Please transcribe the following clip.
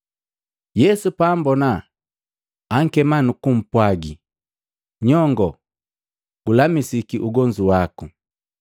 Yesu paambona, ankema nuku mpwagi, “Nyongo gulamisiki ugonzu waku!”